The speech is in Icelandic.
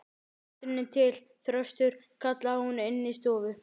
Maturinn er til, Þröstur, kallaði hún inní stofu.